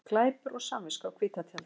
Glæpur og samviska á hvíta tjaldið